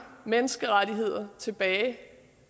menneskerettigheder tilbage